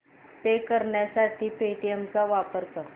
पे करण्यासाठी पेटीएम चा वापर कर